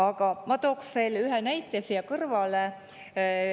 Aga ma toon veel ühe näite siia kõrvale.